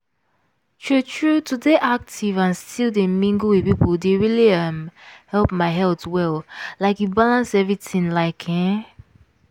true true to dey active and still dey mingle with people dey really um help my health well like e balance everything like ehn.